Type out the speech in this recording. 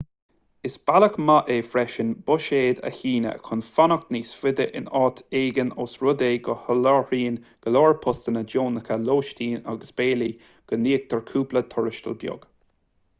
is bealach maith é freisin buiséad a shíneadh chun fanacht níos faide in áit éigin ós rud é go soláthraíonn go leor postanna deonacha lóistín agus béilí agus go n-íoctar cúpla tuarastal beag